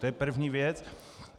To je první věc.